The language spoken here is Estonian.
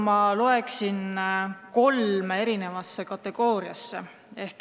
Ma jagaksin selle kolme kategooriasse.